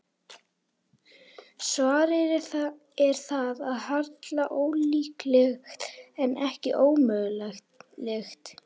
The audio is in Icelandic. Svarið er að það er harla ólíklegt, ef ekki ómögulegt.